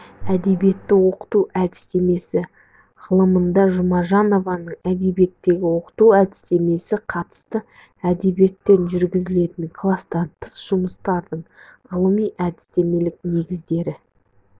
әдебиетті оқыту әдістемесі ғылымында жұмажанованың әдебиетті оқыту әдістемесіне қатысты әдебиеттен жүргізілетін кластан тыс жұмыстардың ғылыми-әдістемелік негіздері